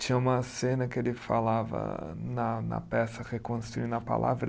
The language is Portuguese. Tinha uma cena que ele falava na na peça Reconstruindo a Palavra.